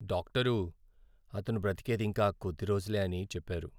Doctor అతను బ్రతికేది ఇంకా కొద్ది రోజులే అని చెప్పారు.